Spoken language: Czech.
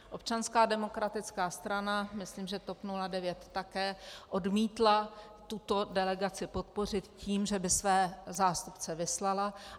Občanská demokratická strana, myslím, že TOP 09 také, odmítla tuto delegaci podpořit tím, že by své zástupce vyslala.